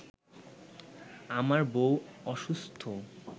আমার বউ অসুস্থ